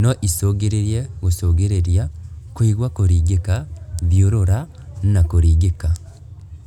No icũngĩrĩrie gũcũngĩrĩria, kũigua kũringĩka, thiũrũra na kũringĩka